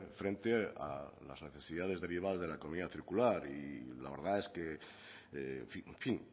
frente a las necesidades derivadas de la economía circular y la verdad es que en fin